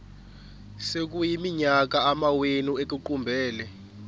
sekuyiminyaka amawenu ekuqumbele